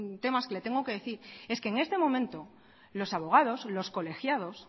temas que le tengo que decir es que en este momento los abogados los colegiados